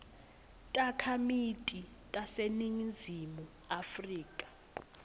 takhamiti taseningizimu afrika